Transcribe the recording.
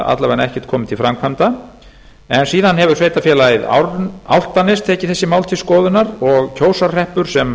vega ekkert komið til framkvæmda en síðan hefur sveitarfélagið álftanes tekið þessi mál til skoðunar og kjósarhreppur sem